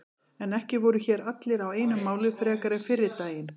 En ekki voru hér allir á einu máli frekar en fyrri daginn.